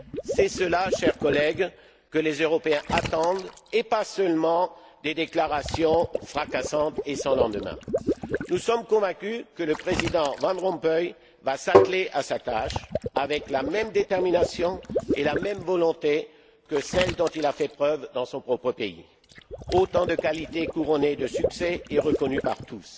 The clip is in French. C'est cela, chers collègues, que les Européens attendent et pas seulement des déclarations fracassantes et sans lendemain. Nous sommes convaincus que le président Van Rompuy va s'atteler à sa tâche avec la même détermination et la même volonté que celles dont il a fait preuve dans son propre pays, autant de qualités couronnées de succès et reconnues par tous.